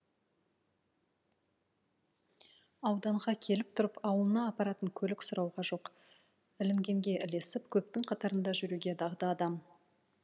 ауданға келіп тұрып ауылына апаратын көлік сұрауға жоқ ілінгенге ілесіп көптің қатарында жүруге дағды адам